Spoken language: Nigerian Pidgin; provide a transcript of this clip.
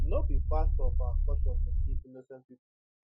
no be part of our culture to kill innocent pipo